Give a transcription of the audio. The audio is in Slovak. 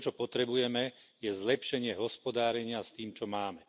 To, čo potrebujeme, je zlepšenie hospodárenia s tým, čo máme.